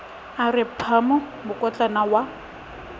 a re phamo mokotlana wa